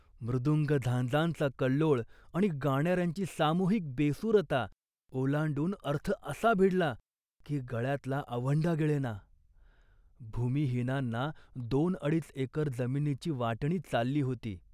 मृदुंग झांजांचा कल्लोळ आणि गाणाऱ्यांची सामूहिक बेसूरता ओलांडून अर्थ असा भिडला, की गळ्यातला आवंढा गिळेना. भूमिहीनांना दोनअडीच एकर जमिनीची वाटणी चालली होती